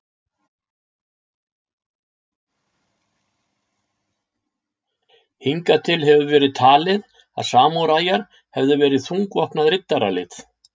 Hingað til hefur verið talið að samúræjar hefðu verið þungvopnað riddaralið.